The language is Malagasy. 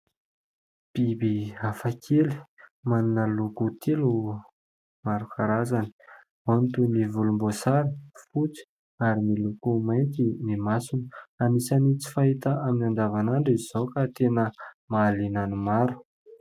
Biby hafakely manana loko telo maro karazany. Ao ny toy ny volomboasary, fotsy ary miloko mainty ny masony. Anisany tsy fahita amin' ny andavanandro izao ka tena mahaliana ny maro.